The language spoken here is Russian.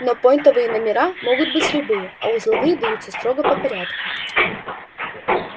но пойнтовые номера могут быть любые а узловые даются строго по порядку